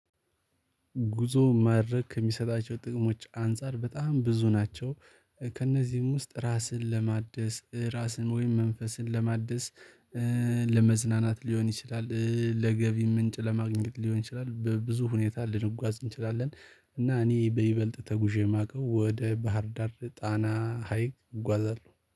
ጉዞ ማድረግ ከሚሰጣቸው ጥቅሞች አንፃር በጣም ብዙ ናቸው። ከእነዚህም ውስጥ ራስን ለማደስ ራስን ወይም መንፈስን ለማደስ ለመዝናናት ሊሆን ይችላል። ለገቢ ምንጭ ለማግኘት ሊሆን ይችላል። በብዙ ሁኔታ ልንጓዝ እንችላለን። እና እኔ በይበልጥ ተጉዤ የማውቀው ወደ ባህር ዳር ጣና ሀይቅ እጓዛለሁ